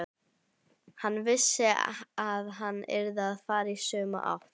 Hann vissi að hann yrði að fara í sömu átt.